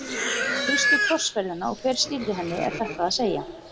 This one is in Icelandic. Um fyrstu krossferðina og hver stýrði henni er þetta að segja.